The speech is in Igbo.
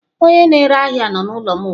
Onye na-ere ahia nọ n'ụlọ m ugbu a.